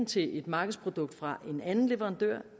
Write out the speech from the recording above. til et markedsprodukt fra en anden leverandør